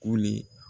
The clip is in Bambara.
Koli